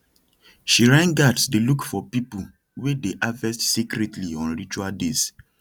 shrine guards dey look for people wey dey harvest secretly on ritual days